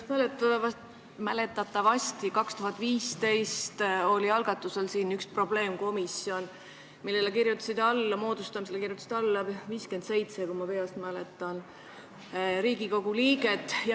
Mäletatavasti algatati 2015 siin ühe probleemkomisjoni moodustamise otsuse eelnõu, millele kirjutas alla 57 Riigikogu liiget, kui ma peast õigesti mäletan.